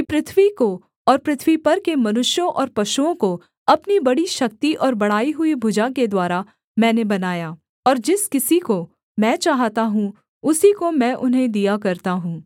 पृथ्वी को और पृथ्वी पर के मनुष्यों और पशुओं को अपनी बड़ी शक्ति और बढ़ाई हुई भुजा के द्वारा मैंने बनाया और जिस किसी को मैं चाहता हूँ उसी को मैं उन्हें दिया करता हूँ